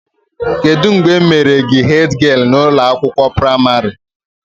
Kedụ mgbe e mere gị hedgialụ na ụlọ akwụkwọ pramarị?